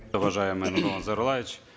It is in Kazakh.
уважаемый нурлан зайроллаевич